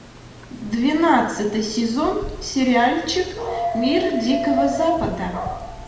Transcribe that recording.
двенадцатый сезон сериальчик мир дикого запада